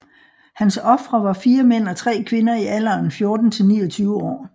Hans ofre var 4 mænd og 3 kvinder i alderen 16 til 29 år